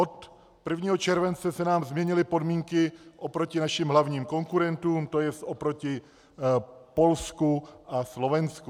Od 1. července se nám změnily podmínky oproti našim hlavním konkurentům, to je proti Polsku a Slovensku.